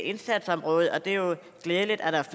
indsatsområde og det er jo glædeligt at der